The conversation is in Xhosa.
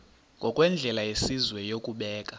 ngokwendlela yesizwe yokubeka